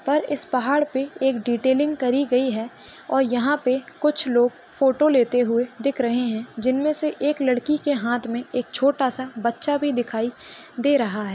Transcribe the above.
पर इस पहाड़ पर एक डिटेलिंग करी गई है और यहाँ पे कुछ लोग फोटो लेते हुए दिख रहे है जिनमे से एक लड़के के हात मे एक छोटासा बच्चा भी दिखाई दे रहा है।